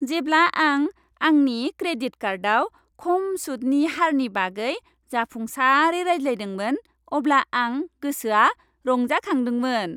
जेब्ला आं आंनि क्रेडिट कार्डआव खम सुदनि हारनि बागै जाफुंसारै रायलायदोंमोन, अब्ला आं गोसोआ रंजाखांदोंमोन।